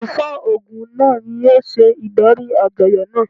Àlùfáà Ògún náà ni yóò ṣe ìdarí àjọyọ̀ náà.